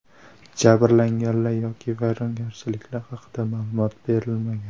Jabrlanganlar yoki vayronagarchiliklar haqida ma’lumot berilmagan.